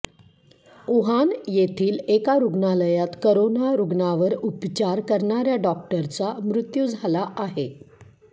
Wuhan येथील एका रुग्णालयात करोना रुग्णांवर उपचार करणाऱ्या डॉक्टरचा मृत्यू झाला आहे